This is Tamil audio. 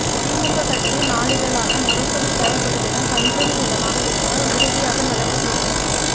திமுக கட்சி நாளிதழான முரசொலி செயல்படும் இடம் பஞ்சமி நிலமாக இருந்தால் உறுதியாக நடவடிக்கை எடுக்கப்படும்